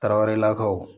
Tarawelelakaw